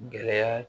Gɛlɛya